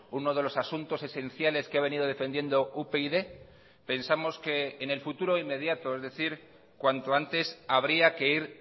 uno de los asuntos esenciales que ha venido defendiendo upyd pensamos que en el futuro inmediato es decir cuanto antes habría que ir